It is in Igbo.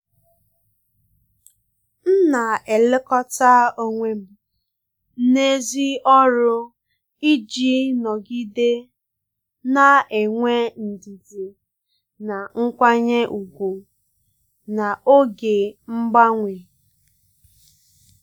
m na-elekọta onwe m n’èzí ọrụ iji nọgide na-enwe ndidi na nkwanye ùgwù n’oge mgbanwe.